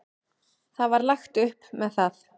Það var lagt upp með það.